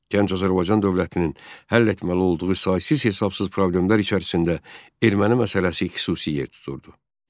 Gənc Azərbaycan dövlətinin həll etməli olduğu saysız-hesabsız problemlər içərisində erməni məsələsi xüsusi yer tuturdu.